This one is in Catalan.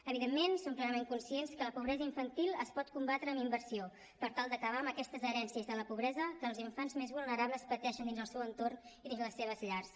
evidentment som plenament conscients que la pobresa infantil es pot combatre amb inversió per tal d’acabar amb aquestes herències de la pobresa que els infants més vulnerables pateixen dins el seu entorn i dins les seves llars